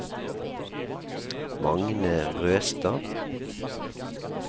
Magne Røstad